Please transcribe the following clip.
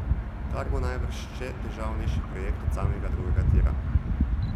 Kar bo najbrž še težavnejši projekt od samega drugega tira ...